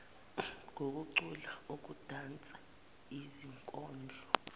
ngokucula ukudansa izikondlo